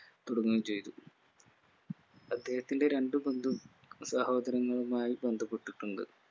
തുടങ്ങുകയും ചെയ്തു അദ്ദേഹത്തിന്റെ രണ്ട്‌ സഹോദരങ്ങളുമായി ബന്ധപ്പെട്ടിട്ടുണ്ട്